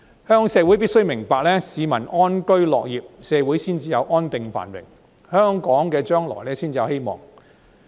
香港社會必須明白，市民安居樂業，社會才會安定繁榮，香港將來才有希望。